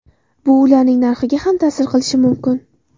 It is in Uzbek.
Bu ularning narxiga ham ta’sir qilishi mumkin.